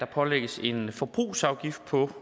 pålægges en forbrugsafgift på